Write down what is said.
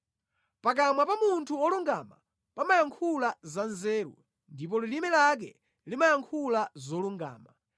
Pakamwa pa munthu wolungama pamayankhula za nzeru, ndipo lilime lake limayankhula zolungama.